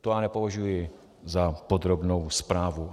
To já nepovažuji za podrobnou zprávu.